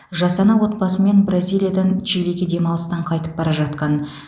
жас ана отбасымен бразилиядан чилиге демалыстан қайтып бара жатқан